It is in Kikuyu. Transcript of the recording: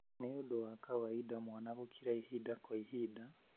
Nĩ ũndũ wa kawaida mwana gũkira ihinda kwa ihinda